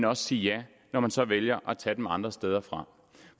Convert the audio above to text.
også sige ja når man så vælger at tage dem andre steder fra